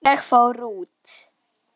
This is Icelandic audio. Finnst þér ég vera gömul?